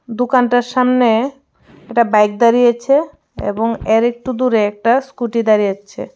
দুকানটার সামনে একটা বাইক দাঁড়িয়ে আছে এবং এ্যার একটু দূরে একটা স্কুটি দাঁড়িয়ে আছে.